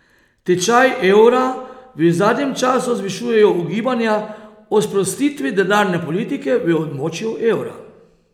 Tečaj evra v zadnjem času zvišujejo ugibanja o sprostitvi denarne politike v območju evra.